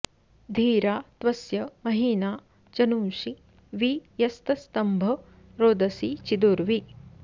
धीरा॒ त्व॑स्य महि॒ना ज॒नूंषि॒ वि यस्त॒स्तम्भ॒ रोद॑सी चिदु॒र्वी